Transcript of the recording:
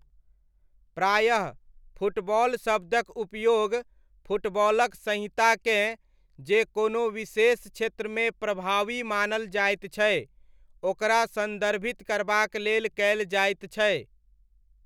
प्रायः, 'फुटबॉल' शब्दक उपयोग फुटबॉलक संहिताकेँ जे कोनो विशेष क्षेत्रमे प्रभावी मानल जाइत छै ओकरा न्दर्भित करबाक लेल कयल जाइत छै।